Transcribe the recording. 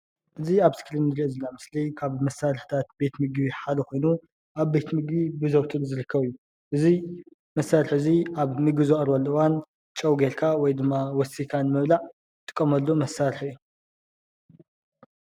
እዚ አብ እስክሪን እንሪኦ ዘለና ምስሊ ካብ መሳርሕታት ቤት ምግቢ ሓደ ኮይኑ ኣብ ቤት ምግቢ ዝርከቡ ። እዚ መሳርሒ እዚ አብ ምግቢ ዝቐርበሉ እዋን ጨው ጌርካ ወይ ድማ ወሲካ ንምብላዕ እንጥቀመሉ መሳርሒ እዩ።